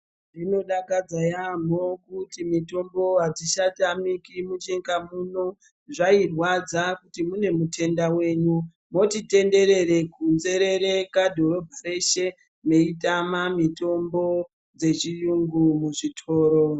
Zvinodakadza yamho kuti mitombo adzichatamiki munyika muno zvairwadza kuti mune mutenda wenyu moti tenderere kunzerereka dhorobha reshe meitama mitombo dzechiyungu muzvitoro.